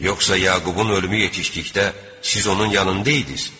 Yoxsa Yaqubun ölümü yetişdikdə siz onun yanında idiniz?